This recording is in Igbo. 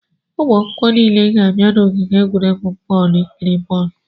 Ụmụ akwụkwọ niile ga-abịa n'ogige egwuregwu bọọlụ ikiri bọọlụ.